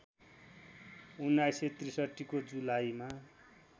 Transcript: १९६३ को जुलाईमा